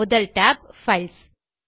முதல் tab files